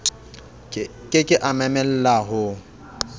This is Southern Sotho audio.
ke ke a mamella ho